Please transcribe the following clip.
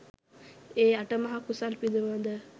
ඒ අටමහා කුසල් පිළිබඳව